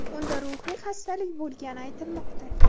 Unda ruhiy xastalik bo‘lgani aytilmoqda.